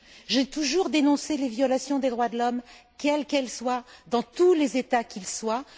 J'ai toujours dénoncé les violations des droits de l'homme, quelles qu'elles soient dans tous les États quels qu'ils soient.